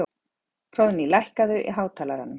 Hróðný, lækkaðu í hátalaranum.